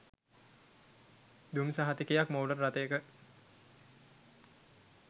දුම් සහතිකයක් මෝටර් රථයක